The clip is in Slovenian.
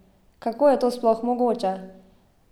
Kako je to sploh mogoče?